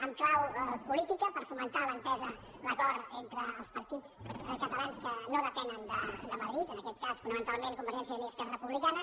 en clau política per fomentar l’entesa l’acord entre els partits catalans que no depenen de madrid en aquest cas fonamentalment convergència i unió i esquerra republicana